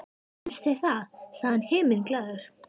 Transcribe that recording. Finnst þér það? sagði hann himinglaður.